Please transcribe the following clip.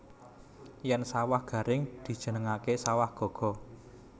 Yèn sawah garing dijenengaké sawah gaga